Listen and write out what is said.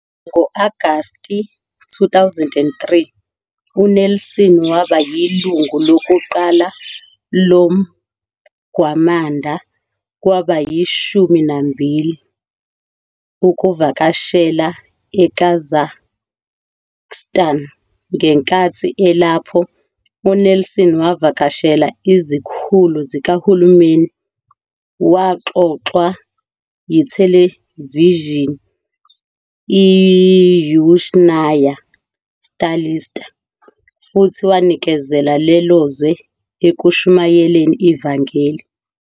Ngo-Agasti 2003, uNelson waba yilungu lokuqala loMgwamanda wabayiShumi naMbili ukuvakashela eKazakhstan. Ngenkathi elapho, uNelson wavakashela izikhulu zikahulumeni, waxoxwa yithelevishini iYuzhnaya Stalitsa, futhi wanikezela lelo zwe ekushumayeleni ivangeli.